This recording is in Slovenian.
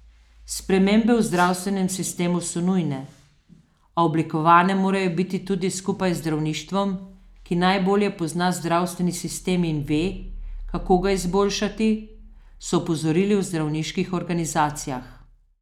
Spremembe v zdravstvenem sistemu so nujne, a oblikovane morajo biti skupaj z zdravništvom, ki najbolje pozna zdravstveni sistem in ve, kako ga izboljšati, so opozorili v zdravniških organizacijah.